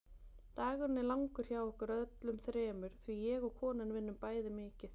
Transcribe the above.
Dagurinn er langur hjá okkur öllum þremur því ég og konan vinnum bæði mikið.